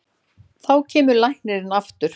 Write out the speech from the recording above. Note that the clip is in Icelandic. Þá kemur læknirinn aftur.